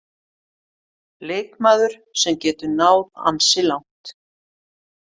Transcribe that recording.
Leikmaður sem getur náð ansi langt.